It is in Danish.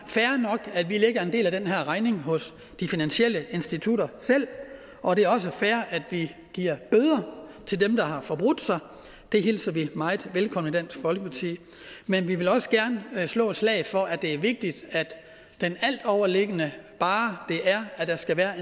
fair nok at vi lægger en del af den her regning hos de finansielle institutter selv og det er også fair at vi giver bøder til dem der har forbrudt sig det hilser vi meget velkommen i dansk folkeparti men vi vil også gerne slå et slag for at det er vigtigt at den altoverliggende barre er at der skal være